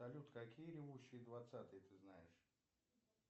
салют какие ревущие двадцатые ты знаешь